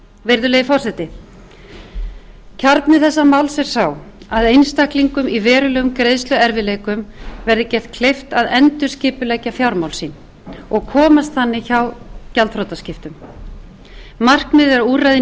virðulegi forseti kjarni þessa máls er sá að einstaklingum í verulegum greiðsluerfiðleikum verði gert kleift að endurskipuleggja fjármál sín og komast þannig hjá gjaldþrotaskiptum markmið eða úrræði